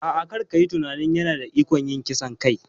A'a, kar a yi tunanin yana da ikon yin kisan kai.